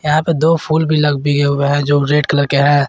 यहां पे दो फूल भी हुए है जो रेड कलर के है।